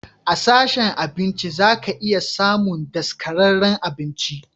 A sashen abinci zaka iya samun daskararren abinci.